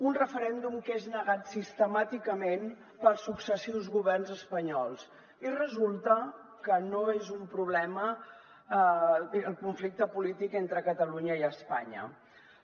un referèndum que és negat sistemàticament pels successius governs espanyols i resulta que no és un problema el conflicte entre catalunya i espanya polític